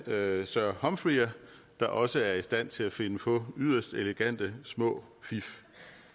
sir humphreyer der også er i stand til at finde på yderst elegante små fif